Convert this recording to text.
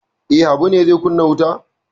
E, Habu ne zai kunna wuta?